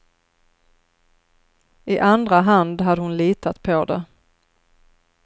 I andra hand hade hon litat på det.